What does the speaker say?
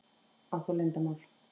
Átt þú leyndarmál?